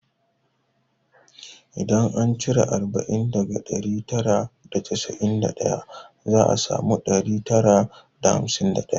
Idan an cire arba'in daga ɗari tara da casa'in da daya za a samu ɗari tara da hamsin da ɗaya